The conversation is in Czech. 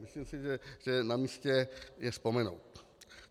Myslím si, že je namístě je vzpomenout.